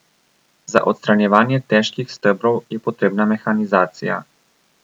Za odstranjevanje težkih stebrov je potrebna mehanizacija.